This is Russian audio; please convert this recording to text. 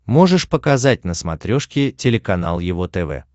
можешь показать на смотрешке телеканал его тв